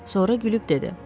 Sonra gülüb dedi: